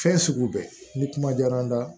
Fɛn sugu bɛɛ ni kuma diyara n na